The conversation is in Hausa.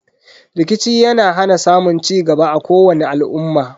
Rikici yana hana samun cigaba a kowani al'umma.